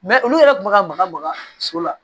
olu yɛrɛ kun bɛ ka maga maga so la